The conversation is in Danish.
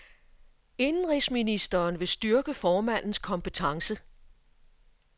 Indenrigsministeren vil styrke formandens kompetence.